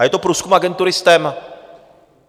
A je to průzkum agentury STEM.